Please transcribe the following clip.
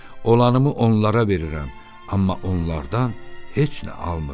Olanımı onlara verirəm, amma onlardan heç nə almıram.